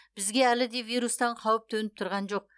бізге әлі де вирустан қауіп төніп тұрған жоқ